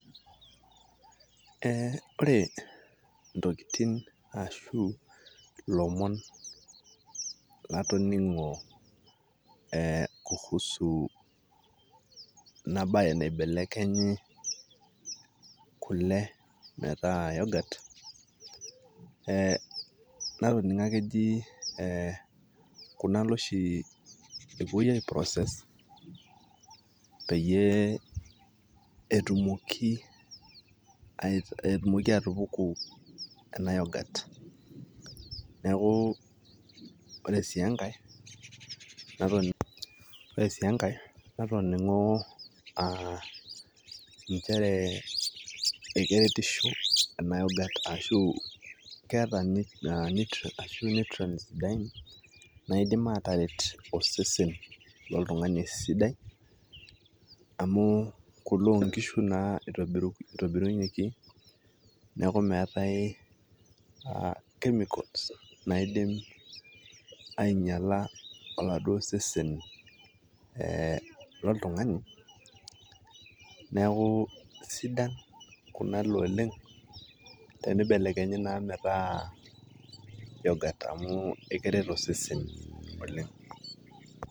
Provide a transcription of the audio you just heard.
Eh ore intokiting' ashu ilomon latoning'o eh kuhusu enabae naibelekenyi kule metaa yoghurt ,eh natoning'o ake eji kunale oshi epuoi ai process ,peyie etumoki atupuku ena yoghurt. Neeku ore si enkae, natoning'o ah njere ekeretisho ena yoghurt ashu keeta nutrients ,naidim ataret osesen loltung'ani esidai, amu kule onkishu naa itobirunyeki, neeku meetae chemicals naidim ainyala aladuo sesen eh loltung'ani, neeku asidan kunale oleng',tenibelekenyi naa metaa yoghurt amu keret osesen oleng'.